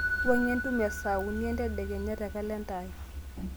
wuang'ie entumo e saa uni entedekenya te kalenda aai